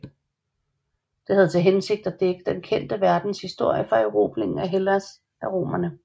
Det havde til hensigt at dække den kendte verdens historie fra erobringen af Hellas af romerne